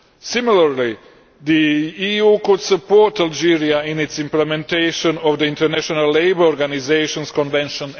Similarly, the EU could support Algeria in its implementation of the International Labour Organisation's Convention